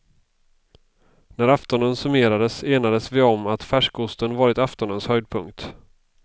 När aftonen summerades enades vi om att färskosten varit aftonens höjdpunkt.